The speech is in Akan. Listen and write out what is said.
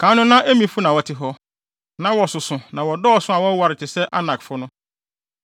Kan no na Emifo na wɔte hɔ. Na wɔsoso na wɔdɔɔso a wɔwoware te sɛ Anakfo no.